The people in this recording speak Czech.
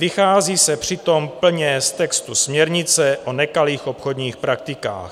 Vychází se přitom plně z textu směrnice o nekalých obchodních praktikách.